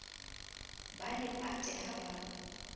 ba le pate ha ba